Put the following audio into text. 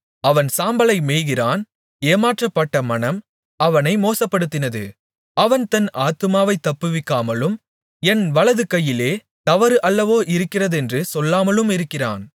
அவன் சாம்பலை மேய்கிறான் ஏமாற்றப்பட்ட மனம் அவனை மோசப்படுத்தினது அவன் தன் ஆத்துமாவைத் தப்புவிக்காமலும் என் வலது கையிலே தவறு அல்லவோ இருக்கிறதென்று சொல்லாமலும் இருக்கிறான்